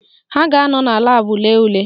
Ha ga-anọ na laabụ lee ule